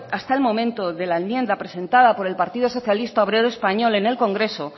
hasta el momento de la enmienda presentada por el partido socialista obrero español en el congreso